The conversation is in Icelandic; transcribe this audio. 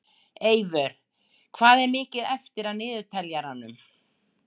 Eyvör, hvað er mikið eftir af niðurteljaranum?